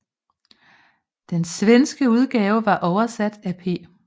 Den svenske udgave var oversat af P